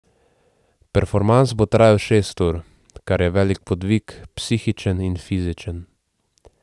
Performans bo trajal šest ur, kar je velik podvig, psihičen in fizičen.